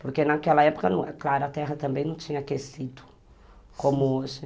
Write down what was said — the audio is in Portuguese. Porque naquela época, claro, a terra também não tinha aquecido, como hoje.